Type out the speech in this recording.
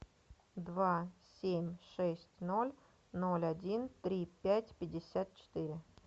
два семь шесть ноль ноль один три пять пятьдесят четыре